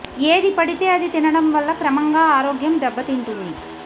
ఏది పడితే అది తినడం వల్ల క్రమంగా ఆరోగ్యం దెబ్బతింటుంది